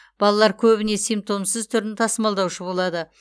балалар көбіне симптомсыз түрін тасымалдаушы болады